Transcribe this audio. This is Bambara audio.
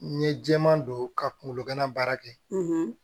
N ye jɛman don ka kunkolo gana baara kɛ